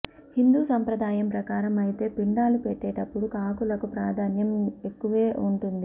హిందూ సంప్రదాయం ప్రకారం అయితే పిండాలు పెట్టేటప్పుడు కాకులకు ప్రాధాన్యం ఎక్కువే ఉంటుంది